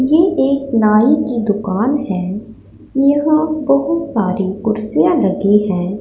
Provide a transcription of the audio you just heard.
ये एक नाई की दुकान है यहां बहुत सारी कुर्सियां लगी हैं।